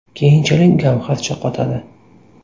Keyinchalik gavharcha qotadi.